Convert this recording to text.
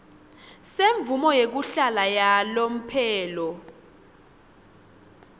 semvumo yekuhlala yalomphelo